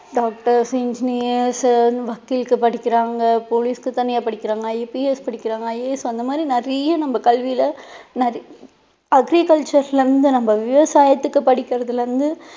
doctors engineers உ வக்கீலுக்கு படிக்கிறாங்க police க்கு தனியா படிக்கிறாங்க IPS படிக்கிறாங்க IAS அந்த மாதிரி நிறைய நமக்கு கல்வியில நிறை~ agriculture ல இருந்து நம்ம விவசாயத்துக்கு படிக்கிறதுல இருந்து